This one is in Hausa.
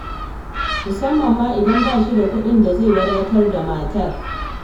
Musamman ma idan ba shi da kuɗin da zai wadatar da matar.